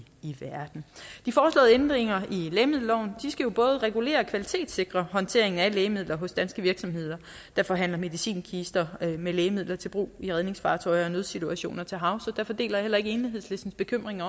verden de foreslåede ændringer i lægemiddelloven skal jo både regulere og kvalitetssikre håndtering af lægemidler hos danske virksomheder der forhandler medicinkister med lægemidler til brug i redningsfartøjer og ved nødsituationer til havs derfor deler jeg heller ikke enhedslistens bekymring